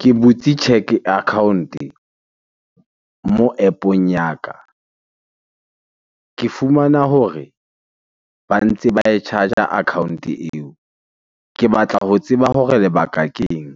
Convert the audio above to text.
Ke butse cheque account-e mo App ong ya ka. Ke fumana hore ba ntse ba e charger account-o eo. Ke batla ho tseba hore lebaka ke eng?